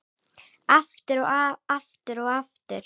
Aftur og aftur og aftur.